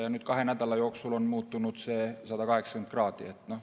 Ja nüüd kahe nädala jooksul on see muutunud 180 kraadi.